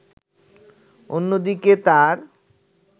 অন্যদিকে তার